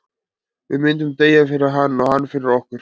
Við myndum deyja fyrir hann, og hann fyrir okkur.